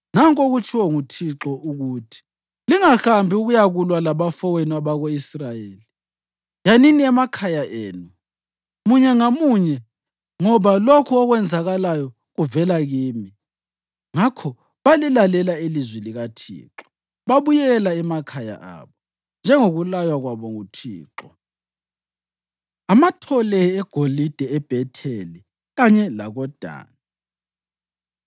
‘Nanku okutshiwo nguThixo ukuthi: Lingahambi ukuyakulwa labafowenu, abako-Israyeli. Yanini emakhaya enu, munye ngamunye, ngoba lokhu okwenzakalayo kuvela kimi.’ ” Ngakho balilalela ilizwi likaThixo babuyela emakhaya abo, njengokulaywa kwabo nguThixo. Amathole Egolide EBhetheli Kanye LakoDani